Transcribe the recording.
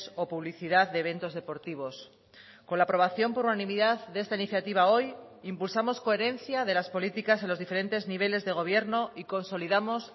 o publicidad de eventos deportivos con la aprobación por unanimidad de esta iniciativa hoy impulsamos coherencia de las políticas en los diferentes niveles de gobierno y consolidamos